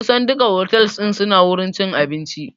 Kusan duka otals suna da wurin cin abinci